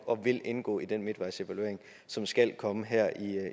og vil indgå i den midtvejsevaluering som skal komme her